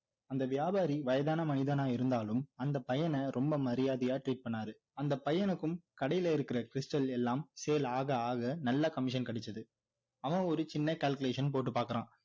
அந்த வியாபாரி வயதான மனிதனா இருந்தாலும் அந்த பையன ரொம்ப மரியாதையா treat பண்ணாரு அந்த பையனுக்கும் கடையில இருக்கிற stal எல்லாம் sale ஆக ஆக நல்ல commission கிடைச்சிது அவன் ஒரு சின்ன calculation போட்டு பார்க்குறான்